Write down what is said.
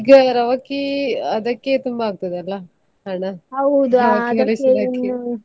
ಈಗ ರವಾಕಿ ಅದಕ್ಕೆ ತುಂಬಾ ಆಗ್ತದಲ್ಲ ಹಣ ರವಕ್ಕೆ ಹೊಲಿಸುವುದಕ್ಕೆ.